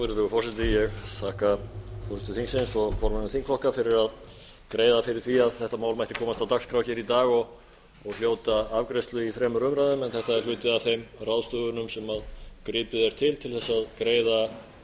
virðulegur forseti ég þakka forseta þingsins og formönnum þingflokka fyrir að greiða fyrir því að þetta mál mætti komast á dagskrá í dag og hljóta afgreiðslu í þremur umræðum en þetta er hluti af þeim ráðstöfunum sem gripið er til til að greiða